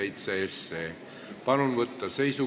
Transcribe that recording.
Istungi lõpp kell 10.18.